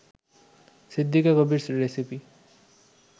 Siddika Kabir recipe